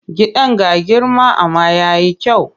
Gidan ga girma amma ya yi kyau.